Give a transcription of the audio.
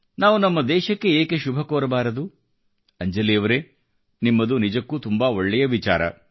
ನಾವು ನಮ್ಮ ದೇಶಕ್ಕೆ ಏಕೆ ಶುಭಕೋರಬಾರದು ಅಂಜಲಿಯವರೇ ನಿಮ್ಮದು ನಿಜಕ್ಕೂ ತುಂಬಾ ಒಳ್ಳೆಯ ವಿಚಾರ